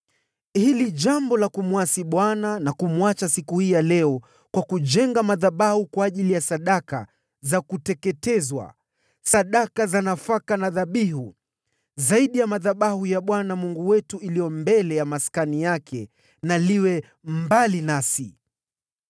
“Hili jambo la kumwasi Bwana na kumwacha siku hii ya leo kwa kujenga madhabahu kwa ajili ya sadaka za kuteketezwa, sadaka za nafaka na dhabihu, zaidi ya madhabahu ya Bwana Mungu wetu iliyo mbele ya maskani yake na liwe mbali nasi.”